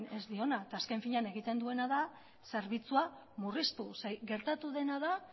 ez diona azken finean egiten duena da zerbitzua murriztu gertatu dena da